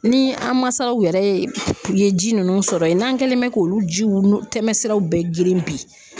Ni an mansaw yɛrɛ ye u ye ji ninnu sɔrɔ yen, n'an kɛlen bɛ k'olu jiw tɛmɛsiraw bɛɛ gere bi.